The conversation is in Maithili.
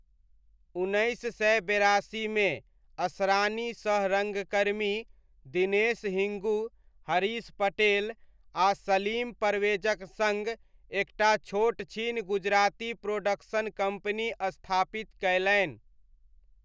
उन्नैस सए बेरासीमे असरानी सह रङ्गकर्मी दिनेश हिङ्गू, हरीश पटेल आ सलीम परवेजक सङ्ग एकटा छोटछिन गुजराती प्रोडक्शन कम्पनी स्थापित कयलनि।